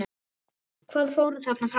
Hvað fór þarna fram?